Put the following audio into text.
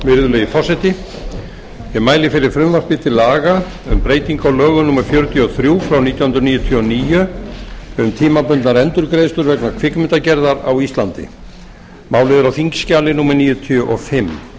virðulegi forseti ég mæli fyrir frumvarpi til laga um breytingu á laga númer fjörutíu og þrjú nítján hundruð níutíu og níu um tímabundnar endurgreiðslur vegna kvikmyndagerðar á íslandi málið er á þingskjali fjörutíu og fimm